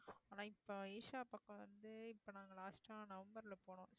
ஆனா இப்ப ஈஷா பக்கம் வந்து இப்ப நாங்க last ஆ நவம்பர்ல போனோம்